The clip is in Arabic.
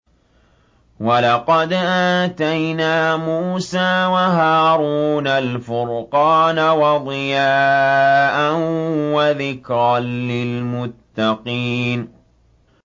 وَلَقَدْ آتَيْنَا مُوسَىٰ وَهَارُونَ الْفُرْقَانَ وَضِيَاءً وَذِكْرًا لِّلْمُتَّقِينَ